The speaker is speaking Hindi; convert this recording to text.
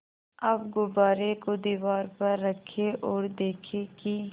अब गुब्बारे को दीवार पर रखें ओर देखें कि